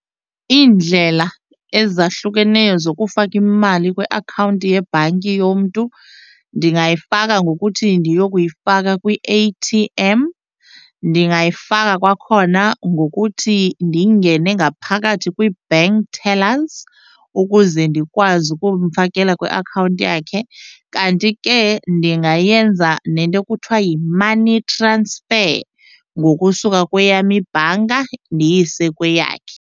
Iindlela ezahlukeneyo zokufaka imali kwiakhawunti yebhanki yomntu ndingayifaka ngokuthi ndiyokuyifaka kwi-A_T_M. Ndingayifaka kwakhona ngokuthi ndingene ngaphakathi kwi-bank tellers ukuze ndikwazi ukumfakela kwiakhawunti yakhe kanti ke ndingayenza nento ekuthiwa yi-money transfer ngokusuka kweyam ibhanka ndiyise kweyakhe.